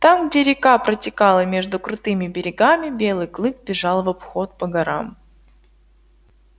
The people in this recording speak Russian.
там где река протекала между крутыми берегами белый клык бежал в обход по горам